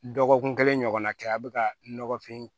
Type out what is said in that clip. Dɔgɔkun kelen ɲɔgɔnna kɛ a bɛ ka nɔgɔfin